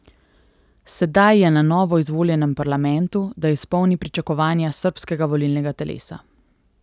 Sedaj je na novo izvoljenem parlamentu, da izpolni pričakovanja srbskega volilnega telesa.